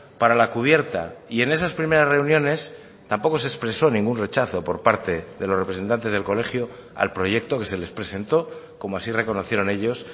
para la cubierta y en esas primeras reuniones tampoco se expresó ningún rechazo por parte de los representantes del colegio al proyecto que se les presentó como así reconocieron ellos